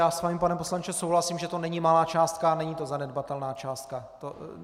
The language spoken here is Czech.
Já s vámi, pane poslanče, souhlasím, že to není malá částka a není to zanedbatelná částka.